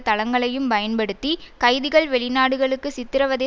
தளங்களையும் பயன்படுத்தி கைதிகள் வெளிநாடுகளுக்கு சித்திரவதை